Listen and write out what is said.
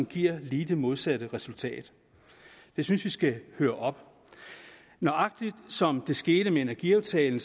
giver lige det modsatte resultat det synes vi skal høre op nøjagtig som det skete med energiaftalen